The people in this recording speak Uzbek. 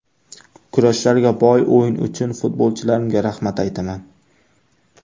Kurashlarga boy o‘yin uchun futbolchilarimga rahmat aytaman.